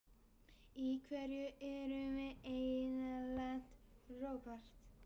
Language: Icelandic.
Í hverju erum við eiginlega lent, Róbert?